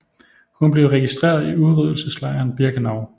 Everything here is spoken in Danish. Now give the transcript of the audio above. Hun blev registreret i udryddelseslejren Birkenau